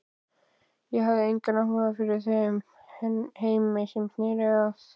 Ég hafði engan áhuga fyrir þeim heimi sem sneri að